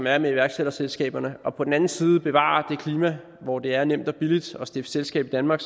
er med iværksætterselskaberne og på den anden side bevare det klima hvor det er nemt og billigt at stifte selskab i danmark